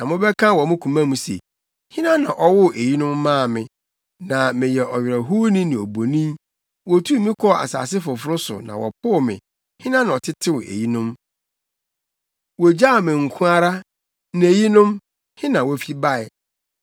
Na wobɛka wɔ wo koma mu se, ‘Hena na ɔwoo eyinom maa me? Na meyɛ ɔwerɛhowni ne obonin; wotuu me kɔɔ asase foforo so na wɔpoo me. Hena na ɔtetew eyinom? Wogyaw me nko ara na eyinom, he na wofi bae?’ ”